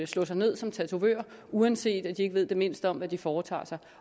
slå sig ned som tatovør uanset at de ikke ved det mindste om hvad de foretager sig